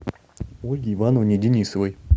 ольге ивановне денисовой